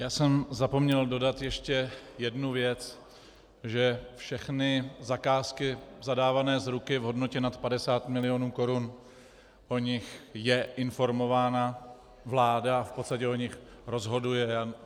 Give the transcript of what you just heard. Já jsem zapomněl dodat ještě jednu věc, že všechny zakázky zadávané z ruky v hodnotě nad 50 milionů korun, o nich je informována vláda a v podstatě o nich rozhoduje.